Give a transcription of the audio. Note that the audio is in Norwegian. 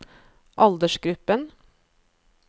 aldersgruppen